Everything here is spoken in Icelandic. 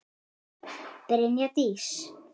Brynja Dís.